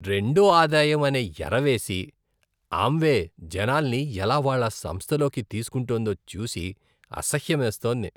రెండో ఆదాయం అనే ఎరవేసి ఆమ్వే జనాల్ని ఎలా వాళ్ళ సంస్థలోకి తీసుకుంటోందో చూసి అసహ్యమేస్తోంది.